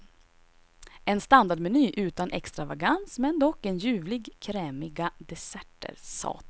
En standardmeny utan extravagans men dock en ljuvligt krämiga desserter.